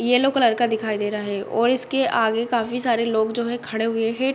Yellow colour का दिखाई दे रहा है और इसके आगे काफी सारे लोग जो है खड़े हुए हैं।